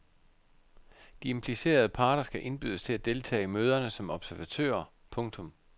De implicerede parter skal indbydes til at deltage i møderne som observatører. punktum